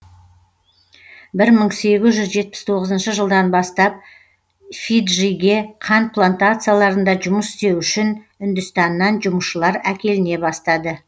бір мың сегіз жүз жетпіс тоғызыншы жылдан бастап фиджиге қант плантацияларында жұмыс істеу үшін үндістаннан жұмысшылар әкеліне бастады